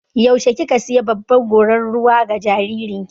Yaushe kika sayi babbar gorar ruwa ga jaririn ki?